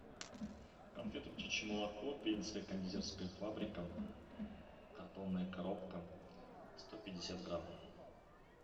конфеты птичье молоко пензенская кондитерская фабрика картонная коробка сто пятьдесят грамм